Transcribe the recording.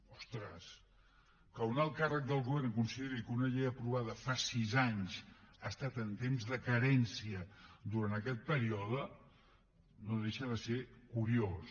ostres que un alt càrrec del govern consideri que una llei aprovada fa sis anys ha estat en temps de carència durant aquest període no deixa de ser curiós